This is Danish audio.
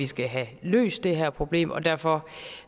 skal have løst her problem og derfor